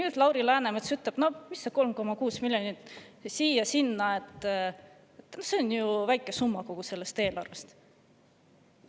ütleb Lauri Läänemets, et 3,6 miljonit siia-sinna, see on ju väike summa kogu sellest eelarvest.